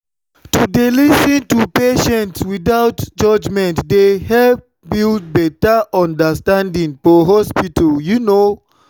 to dey lis ten to patients without judgment dey help build better understanding for hospital you know.